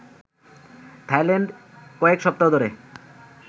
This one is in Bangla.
থাইল্যান্ডে কয়েক সপ্তাহ ধরে